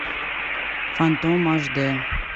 фантом аш д